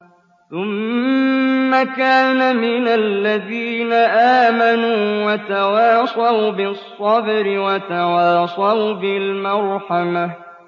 ثُمَّ كَانَ مِنَ الَّذِينَ آمَنُوا وَتَوَاصَوْا بِالصَّبْرِ وَتَوَاصَوْا بِالْمَرْحَمَةِ